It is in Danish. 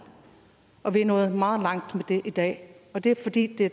og vi er nået meget langt med det i dag og det er fordi det